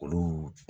Olu